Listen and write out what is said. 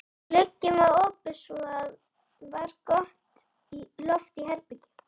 Glugginn var opinn svo það var gott loft í herberginu.